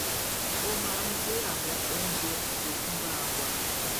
ó máa ń gbé àwọn oúnjẹ àjogúnbá wa